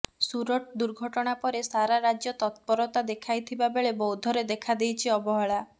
ସୁରଟ୍ ଦୁର୍ଘଟଣା ପରେ ସାରା ରାଜ୍ୟ ତତ୍ପରତା ଦେଖାଇଥିବା ବେଳେ ବୌଦ୍ଧରେ ଦେଖାଦେଇଛି ଅବହେଳା